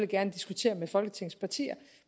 gerne diskutere med folketingets partier